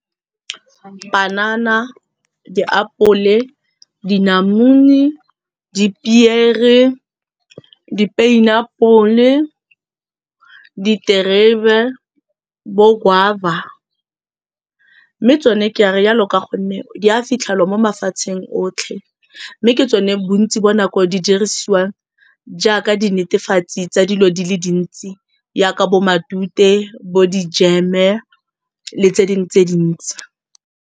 Panana, diapole, dinamune, dipiere, di-pineapple-e, diterebe, bo guava mme tsone ka rialo ka gonne di a fitlhelwa mo mafatsheng otlhe. Mme ke tsone bontsi ba nako di dirisiwang jaaka di netefatsi tsa dilo di le dintsi jaaka bo matute, bo di-jam-e le tse dingwe tse dintsi.